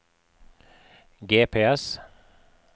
GPS